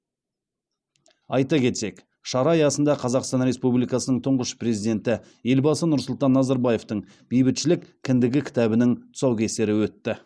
айта кетсек шара аясында қазақстан республикасының тұңғыш президенті елбасы нұрсұлтан назарбаевтың бейбітшілік кіндігі кітабының тұсаукесері өтті